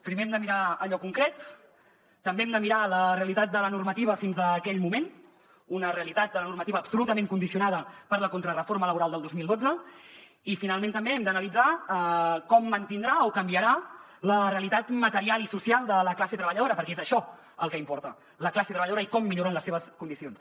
primer hem de mirar allò concret també hem de mirar la realitat de la normativa fins a aquell moment una realitat de la normativa absolutament condicionada per la contrareforma laboral del dos mil dotze i finalment també hem d’analitzar com mantindrà o canviarà la realitat material i social de la classe treballadora perquè és això el que importa la classe treballadora i com milloren les seves condicions